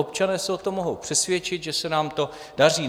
Občané se o tom mohou přesvědčit, že se nám to daří.